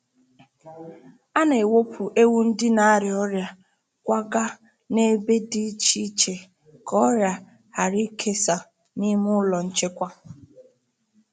A na-ewepụ ewu ndị n'arịa ọrịa kwagaa na ebe dị iche iche ka ọrịa ghara ịkesa n’ime ụlọ nchekwa.